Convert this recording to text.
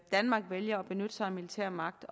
danmark vælger at benytte sig af militær magt